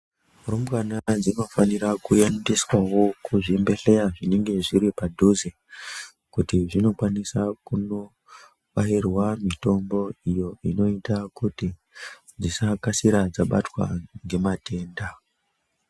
Rumbwana dzinofanira kuendeswawo kuzvibhedhlera zvinenge zviripadhuze kuti zvinokwanisa kunobairwa mitombo iyo inoita kuti dzisakasira dzabatwa ngematenda.